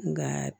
Nka